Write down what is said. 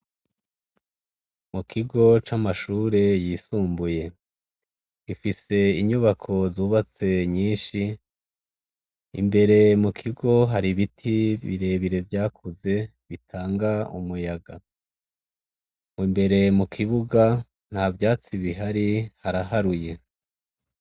Mu kigo c' amashure yinsumbuye, gifise inyubako zubatse nyinshi, imbere mu kigo hari ibiti bire bire vyakuze bitanga umuyaga, imbere mu kibuga ntavyatsi bihari haraharuye.